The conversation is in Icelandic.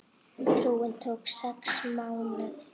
Túrinn tók sex mánuði.